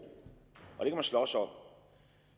og slås om